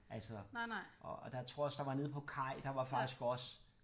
Altså og der jeg tror også der nede på Kaj der var faktisk også